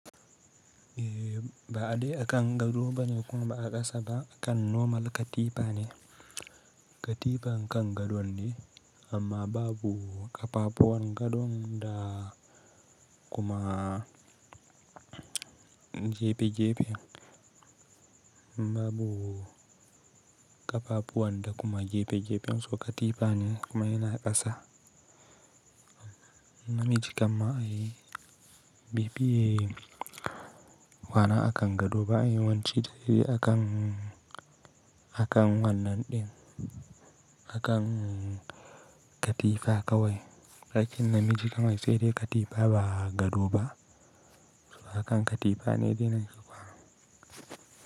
Eh ba ade akan gado bane kuma ba a ƙasa ba, akan normal katifa ne. Katifan kan gadon ne, amma babu ƙafafuwan gadon da kuma gefe-gefen, babu ƙafafuwan da kuma gefe-gefen, to katifa ne kuma yana ƙasa. Namiji kam ma ai, be fiye kwana akan gado ba, ai yawanci dai akan, akan wannan ɗin, akan katifa kawai. Ɓarƙin namiji kam ai sai dai katifa ba gado ba, so akan katifa ne nake kwana.